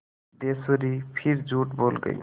सिद्धेश्वरी फिर झूठ बोल गई